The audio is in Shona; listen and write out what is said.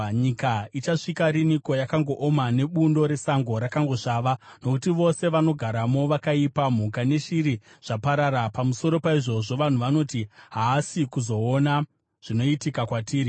Nyika ichasvika riniko yakangooma, nebundo resango rakangosvava? Nokuti vose vanogaramo vakaipa, mhuka neshiri zvaparara. Pamusoro paizvozvo, vanhu vanoti, “Haasi kuzoona zvinoitika kwatiri.”